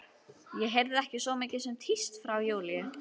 Ég heyrði ekki svo mikið sem tíst frá Júlíu.